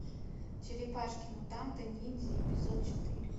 черепашки мутанты ниндзя эпизод четыре